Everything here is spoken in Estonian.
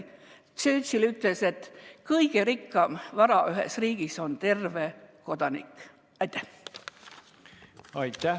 Churchill ütles, et kõige suurem vara ühes riigis on terve kodanik.